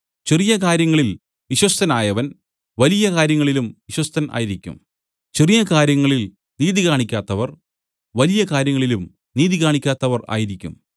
ചെറിയ കാര്യങ്ങളിൽ വിശ്വസ്തനായവൻ വലിയ കാര്യങ്ങളിലും വിശ്വസ്തൻ ആയിരിക്കും ചെറിയ കാര്യങ്ങളിൽ നീതി കാണിക്കാത്തവർ വലിയ കാര്യങ്ങളിലും നീതി കാണിക്കാത്തവർ ആയിരിക്കും